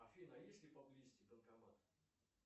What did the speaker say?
афина есть ли поблизости банкомат